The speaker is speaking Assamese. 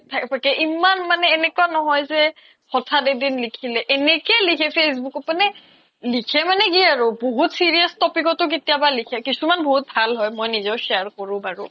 ইমান মানে এনেকুৱা নহয় যে হথাত এক্দিন লিখিলে এনেকে লিকে facebook ত মানে লিকে মানে কি আৰু বহুত serious topic ও লিখে কিছুমান ভাল হয় মই নিজেও share কৰো বাৰু